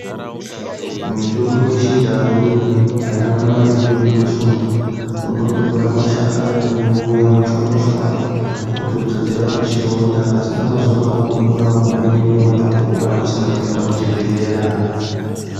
Mitombo yechindau iyi haina mare inoduswa unondotora mashakani wouya wochwanyachawanya wotodzodzera pachironda pasina mazuwa marongomuna unengene watopora usina kuenda kuchibhehlera.